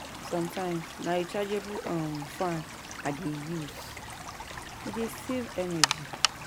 Sometimes, na rechargeable um fan I dey use, e dey save energy.